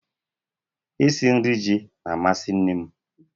Nne m na-amasị isi nri ji